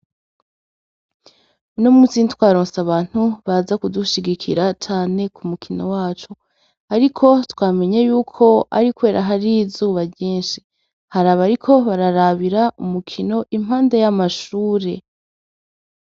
Uno munsi ntitwaronse abantu baza kudushigikira cane ku mukino wacu. Ariko twamenye y'uko ari kubera hari izuba ryinshi. Hari abariko bararabira umukino impande y'amashuri.